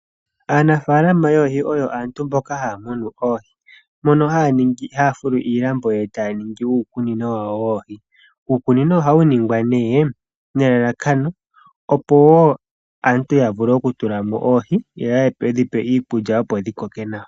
Aanafaalama yoohi oyo aantu mboka haamunu oohi mono haafulu iilambo etaaningi uukunino wawo woohi, uukunino ohawu ningwa nee nelalakano opo aantu yavule okutula mo oohi yo yedhipe iikulya opo dhikoke nawa.